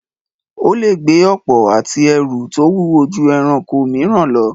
Ó lè gbé ọ̀pọ̀ ati ẹrù tó wúwo ju ẹranko mìíràn lọ.